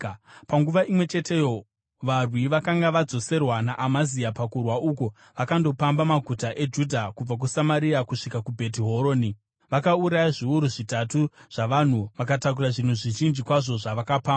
Panguva imwe cheteyo varwi vakanga vadzoserwa naAmazia pakurwa uku vakandopamba maguta eJudhea kubva kuSamaria kusvika kuBheti Horoni. Vakauraya zviuru zvitatu zvavanhu vakatakura zvinhu zvizhinji kwazvo zvavakapamba.